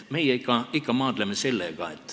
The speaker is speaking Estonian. Meie ikka maadleme sellega.